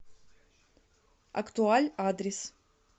актуаль адрес